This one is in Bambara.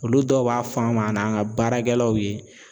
Olu dɔw b'a fɔ an ma an n'a ka baarakɛlaw ye